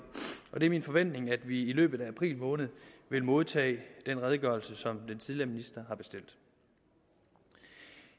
og det er min forventning at vi i løbet af april måned vil modtage den redegørelse som den tidligere minister har bestilt